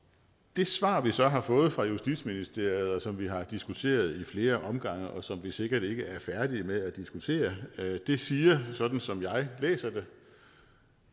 det svar vi så har fået fra justitsministeriet og som vi har diskuteret i flere omgange og som vi sikkert ikke er færdige med at diskutere siger sådan som jeg læser det